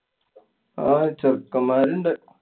ആ ചെക്കന്മാരുണ്ട്.